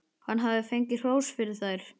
Hann hafði fengið hrós fyrir þær.